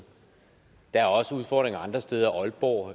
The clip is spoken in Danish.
der er også udfordringer andre steder aalborg